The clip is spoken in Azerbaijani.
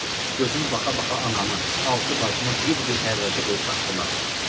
Gözüm baxa-baxa anamı, altı bacımı bir-bir hərracə qoyub satdılar.